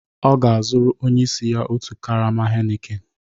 Ọ ga-azụrụ onye isi ya otu karama Heineken